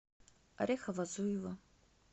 орехово зуево